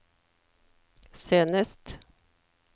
senest